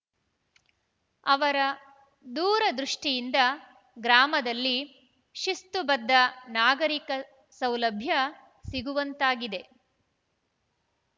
ಅವರ ದೂರದೃಷ್ಟಿಯಿಂದ ಗ್ರಾಮದಲ್ಲಿ ಶಿಸ್ತುಬದ್ಧ ನಾಗರಿಕ ಸೌಲಭ್ಯ ಸಿಗುವಂತಾಗಿದೆ